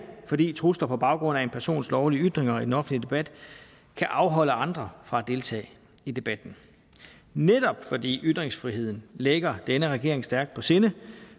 fordi trusler på baggrund af en persons lovlige ytringer i den offentlige debat kan afholde andre fra at deltage i debatten netop fordi ytringsfriheden ligger denne regering stærkt på sinde